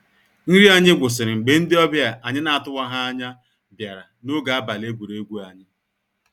Nrị anyị gwụsịrị mgbe ndị ọbia anyị na-atụwaha anya bịara ń ọge abalị egwuregwu anyị.